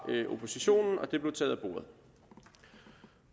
oppositionen og det blev taget af bordet